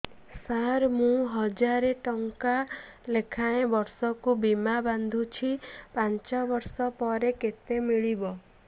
ସାର ମୁଁ ହଜାରେ ଟଂକା ଲେଖାଏଁ ବର୍ଷକୁ ବୀମା ବାଂଧୁଛି ପାଞ୍ଚ ବର୍ଷ ପରେ କେତେ ମିଳିବ